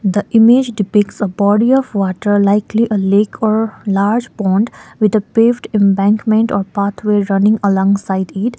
the image depicts a body of water likely a lake or large pond with a paved embankment or pathway running alongside it.